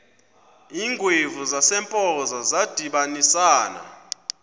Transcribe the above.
iingwevu zasempoza zadibanisana